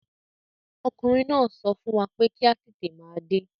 Ọkùnrin náà sọ fún wa pé kí a tètè máa dé.